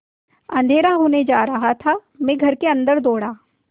अँधेरा होने जा रहा है मैं घर के अन्दर दौड़ा